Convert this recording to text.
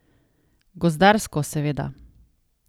Gozdarsko, seveda.